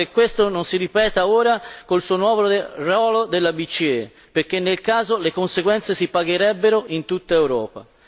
Mi auguro che questo non si ripeta ora con il nuovo ruolo della BCE perché, in tal caso, le conseguenze si pagherebbero in tutta Europa.